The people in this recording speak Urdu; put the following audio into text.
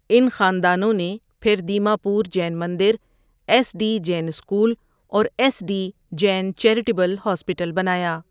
ان خاندانوں نے پھر دیما پور جین مندر، ایس ڈی جین اسکول، اور S D Jain charitable hospital بنایا۔